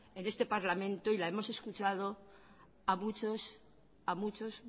en este parlamento y la hemos escuchado a muchos a muchos